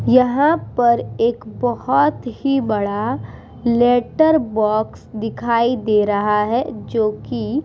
यहाँ पर एक बहुत ही बड़ा लेटर बॉक्स दिखाई दे रहा है जो की --